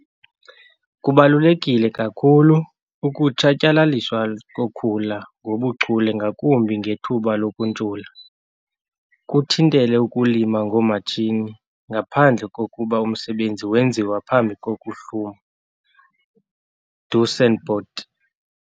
Kubaluleke kakhulu ukutshatyalaliswa kokhula ngobuchule ngakumbi ngethuba lokuntshula. Kuthintele ukulima ngoomatshini ngaphandle kokuba umsebenzi wenziwa phambi kokuhluma 'duisendpoot'.